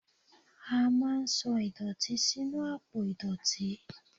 a ma n sọ idotí sinú apò idotí